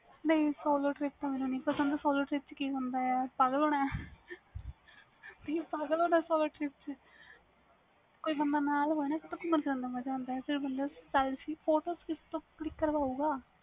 ਇੱਕਲੇ ਜਾਣਾ ਪਸੰਦ ਕਰਦੇ ਹੋ ਬਿਲਕੁਲ ਬਿਲਕੁਲ mam